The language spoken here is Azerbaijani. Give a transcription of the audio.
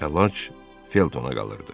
Əlac Feltona qalırdı.